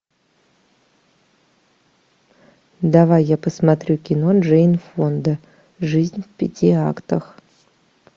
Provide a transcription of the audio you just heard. давай я посмотрю кино джейн фонда жизнь в пяти актах